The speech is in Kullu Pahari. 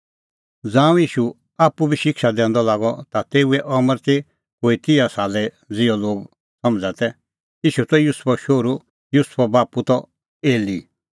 ज़ांऊं ईशू आप्पू बी शिक्षा दैंदअ लागअ ता तेऊए अमर ती कोई तिहा साले ज़िहअ लोग समझ़ा तै ईशू त युसुफो शोहरू युसुफो बाप्पू त एली